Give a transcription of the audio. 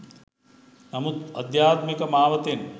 නමුත් අධ්‍යාත්මික මාවතෙන්